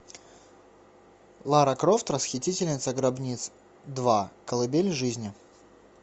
лара крофт расхитительница гробниц два колыбель жизни